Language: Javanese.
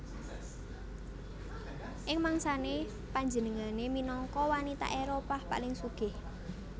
Ing mangsané panjenengané minangka wanita Éropah paling sugih